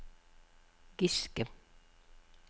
Giske